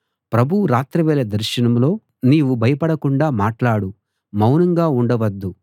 ప్రభువు రాత్రివేళ దర్శనంలో నీవు భయపడకుండా మాట్లాడు మౌనంగా ఉండవద్దు